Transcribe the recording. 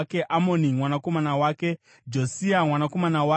Amoni mwanakomana wake, Josia mwanakomana wake.